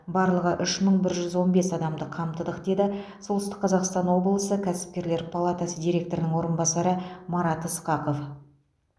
барлығы үш мың бір жүз он бес адамды қамтыдық деді солтүстік қазақстан облысы кәсіпкерлер палатасы директорының орынбасары марат ысқақов